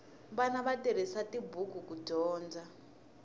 vana va tirhisa tibuku ku dyondza